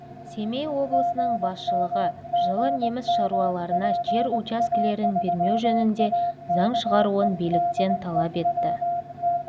семей облысының басшылығы жылы неміс шаруаларына жер учаскелерін бермеу жөнінде заң шығаруын биліктен талап етті